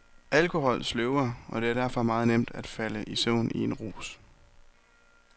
Alkohol sløver, og det er derfor meget nemt at falde i søvn i en rus.